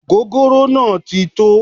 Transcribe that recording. Ogogoro naa ti tó